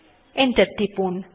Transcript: enter টিপুন